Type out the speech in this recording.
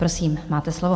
Prosím, máte slovo.